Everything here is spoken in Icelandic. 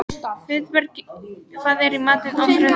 Friðberg, hvað er í matinn á þriðjudaginn?